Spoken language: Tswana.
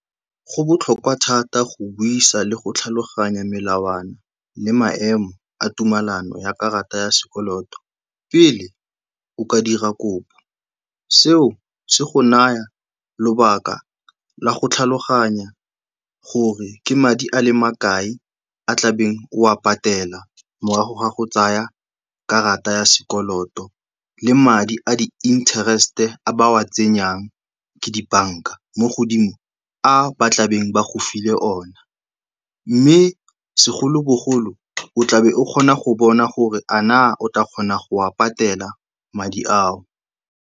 Go botlhokwa thata go buisa le go tlhaloganya melawana le maemo a tumelano ya karata ya sekoloto pele o ka dira kopo. Seo se go naya lobaka la go tlhaloganya gore ke madi a le makae a tlabeng o a patela morago ga go tsaya karata ya sekoloto le madi a di-interest-e a ba a tsenyang ke dibanka mo godimo a ba tlabeng ba go file ona. Mme segolobogolo, o tlabe o kgona go bona gore a naa o tla kgona go a patela madi ao.